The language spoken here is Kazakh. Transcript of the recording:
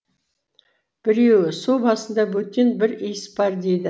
біреуі су басында бөтен бір иіс бар дейді